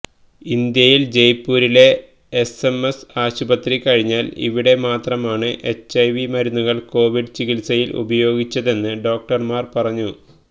ഇന്ത്യയിൽ ജയ്പൂരിലെ എസ്എംഎസ് ആശുപത്രി കഴിഞ്ഞാൽ ഇവിടെ മാത്രമാണ് എച്ച്ഐവി മരുന്നുകൾ കോവിഡ് ചികിത്സയിൽ ഉപയോഗിച്ചതെന്ന് ഡോക്ടർമാർ പറഞ്ഞു